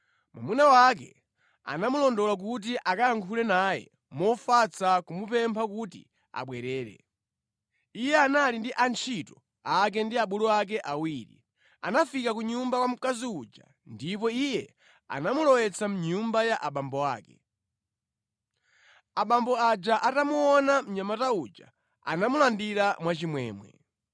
Mwamuna wake anamulondola kuti akayankhule naye mofatsa kumupempha kuti abwerere. Iye anali ndi antchito ake ndi abulu ake awiri. Anafika ku nyumba kwa mkazi uja ndipo iye anamulowetsa mʼnyumba ya abambo ake. Abambo aja atamuona mnyamata uja anamulandira mwachimwemwe.